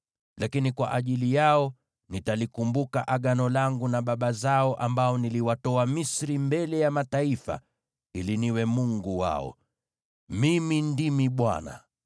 Lakini kwa ajili yao nitalikumbuka agano langu na baba zao, ambao niliwatoa Misri mbele ya mataifa ili niwe Mungu wao. Mimi ndimi Bwana .’”